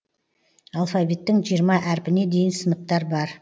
алфавиттің жиырма әрпіне дейін сыныптар бар